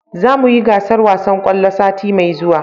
Za mu yi gasar wasan kwallo sati mai zuwa